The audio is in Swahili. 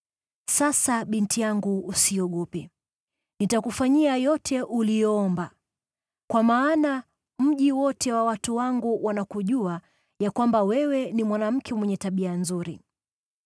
Sasa, binti yangu, usiogope. Nitakufanyia yote uliyoomba. Kwa maana mji wote wa watu wangu wanakujua ya kwamba wewe ni mwanamke mwenye tabia nzuri.